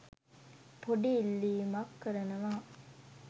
පොඩි ඉල්ලිමක් කරනවා